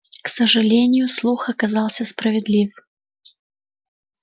к сожалению слух оказался справедлив